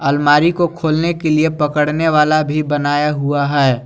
अलमारी को खोलने के लिए पकड़ने वाला भी बनाया हुआ है।